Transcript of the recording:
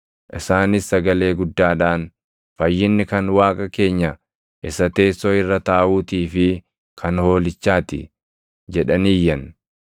Isaanis sagalee guddaadhaan, “Fayyinni kan Waaqa keenya isa teessoo irra taaʼuutii fi kan Hoolichaati” jedhanii iyyan.